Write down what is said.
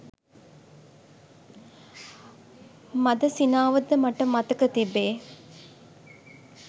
මඳ සිනාවද මට මතක තිබේ.